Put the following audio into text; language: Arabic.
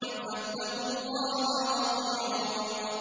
فَاتَّقُوا اللَّهَ وَأَطِيعُونِ